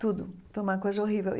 Tudo, foi uma coisa horrível e.